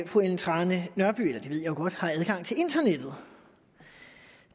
fru ellen trane nørby jo godt har adgang til internettet